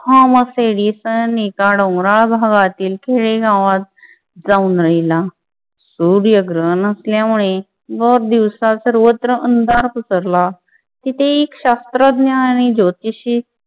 Thomas Edison एका डोंगराळ भागातील खेडेगावात जाऊन राहिला. सूर्यग्रहण असल्यामुळे भर दिवसा सर्वत्र अंधारात पसरला तिथे एक शास्त्रज्ञ आणि ज्योतिषी